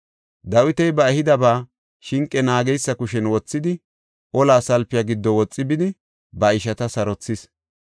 Dawiti ba ehidaba shinqe naageysa kushen wothidi, olaa salpiya giddo woxi bidi, ba ishata sarothis.